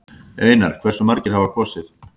Einar: Hversu margir hafa kosið?